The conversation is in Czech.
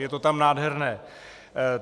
Je to tam nádherné.